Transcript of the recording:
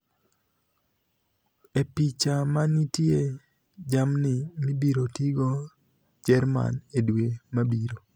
(Goal)E picha manitie jamnii mibirotigo jermani e dwe mabiro.